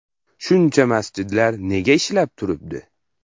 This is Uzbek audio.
Shuncha masjidlar nega ishlab turibdi?